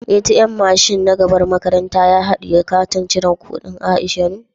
" ATM" mashin na gaban makarantan ya hadiye Katin cire kudin Aisha ne?